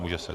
Může se.